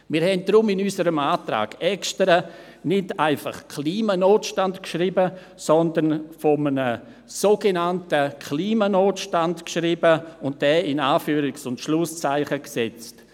Deshalb haben wir in unserem Antrag extra nicht einfach «Klimanotstand» geschrieben, sondern von einem «sogenannten Klimanotstand» geschrieben und diesen in Anführungs- und Schlusszeichen gesetzt.